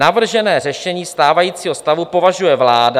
Navržené řešení stávajícího stavu považuje vláda..."